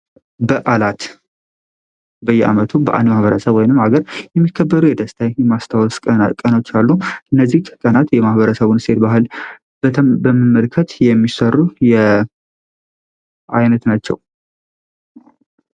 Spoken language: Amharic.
በዓላት በየዓመቱ በአንድ ማህበረሰብ ወይንም ሀገር የሚከበሩ የደስታ የማስታወስ ቀኖች አሉ። እነዚህ ከቀናት የማህበረሰቡን እሴት ባህል በመመልከት የሚሰሩ የአይነት ናቸው።